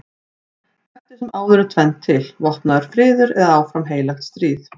Eftir sem áður er tvennt til: vopnaður friður eða áfram heilagt stríð.